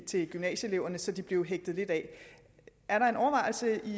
til gymnasieeleverne så de blev hægtet lidt af er der en overvejelse i